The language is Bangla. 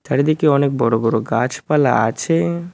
চারিদিকে অনেক বড় বড় গাছপালা আছে।